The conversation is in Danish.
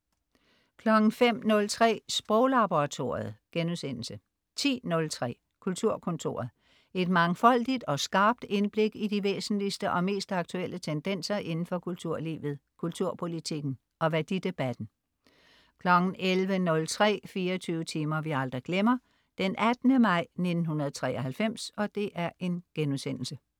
05.03 Sproglaboratoriet* 10.03 Kulturkontoret. Et mangfoldigt og skarpt indblik i de væsentligste og mest aktuelle tendenser indenfor kulturlivet, kulturpolitikken og værdidebatten 11.03 24 timer vi aldrig glemmer: 18. maj 1993*